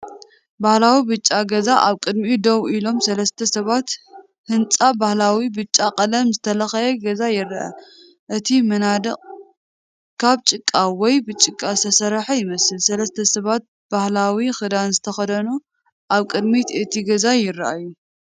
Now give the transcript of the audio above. ባህላዊ ብጫ ገዛን ኣብ ቅድሚኡ ደው ኢሎም ሰለስተ ሰባትን። ህንጻ፡ ባህላዊ ብጫ ቀለም ዝተለኽየ ገዛ ይርአ። እቲ መናድቕ ካብ ጭቃ ወይ ብጭቃ ዝተሰርሐ ይመስል። ሰለስተ ሰባት ባህላዊ ክዳን ዝተኸድኑ ኣብ ቅድሚ እቲ ገዛ ይረኣዩ።